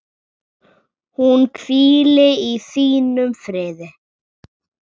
Hún hvíli í þínum friði.